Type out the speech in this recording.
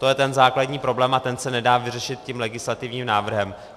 To je ten základní problém a ten se nedá vyřešit tím legislativním návrhem.